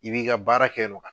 I b'i ka baara kɛ non kan